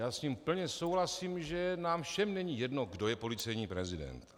Já s ním plně souhlasím, že nám všem není jedno, kdo je policejní prezident.